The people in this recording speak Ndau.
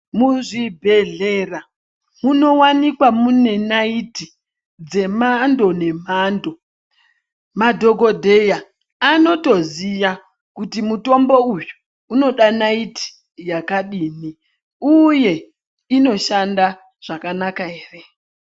Muzvibhedhlera munowanikwa mune naiti dzemando nemando madhokodheya anotoziya kuti mutombo uyu unoda naiti yakadini uye inoshanda zvakanaka ere.